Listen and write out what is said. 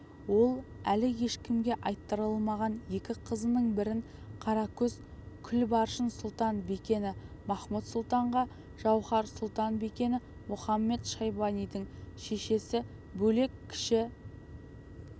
ол әлі ешкімге айттырылмаған екі қызының бірін қара көз күлбаршын-сұлтан-бикені махмуд-сұлтанға жауһар-сұлтан-бикені мұхамед-шайбанидың шешесі бөлек кіші